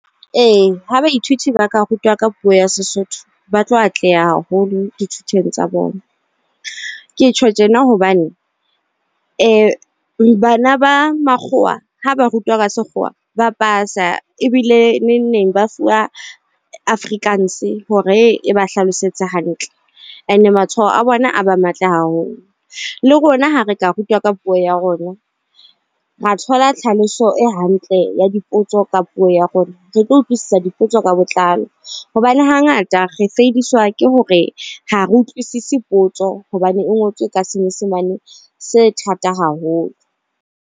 Ee, ho baithuti ba ka rutwa ka puo ya Sesotho ba tlo atleha haholo dithutong tsa bona. Ke tjho tjena hobane bana ba makgowa ha ba rutwa ka sekgowa ba pasa ba ebile neng neng ba fuwa Afrikaans hore e ba hlalosetse hantle. And matshwao a bona a be matle haholo. Le rona, ha re ka rutwa ka puo ya rona, ra thola tlhaloso e hantle ya dipotso ka puo ya rona, re tlo utlwisisa dipotso ka botlalo. Hobane hangata re feidiswa ke hore ha re utlwisise potso hobane e ngotswe ka Senyesemane se thata haholo.